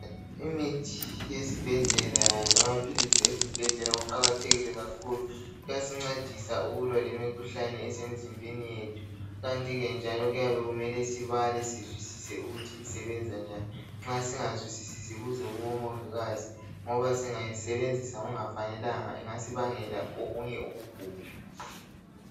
Imithi yesibhedlela lamaphilisi esibhedlela kuqakathekile kakhulu .Kuyasincedisa ukulwa lemikhuhlane esemizimbeni yethu .Kanti ke njalo kuyabe kumele sibale sizwisise ukuthi isebenza njani .Nxa singazwisisi sibuze kubomingikazi .Ngoba singayisebenzisa kungafanelanga ingasibangela okunye ukugula .